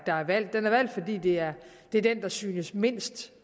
valgt den er valgt fordi det er den der synes mindst